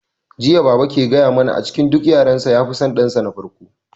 Jiya baba ke gaya mana a cikin duk yaran sa ya fi son dan sa na farko